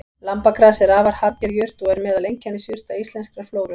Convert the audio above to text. Lambagras er afar harðger jurt og er meðal einkennisjurta íslenskrar flóru.